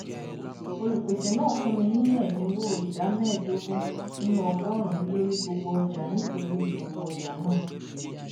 olùpèsè náà fún mi ní ẹdínwó ìdá mẹẹdógún nínú ọgọrùnún lórí gbogbo ọjà nítorí ọpọ ọjà náà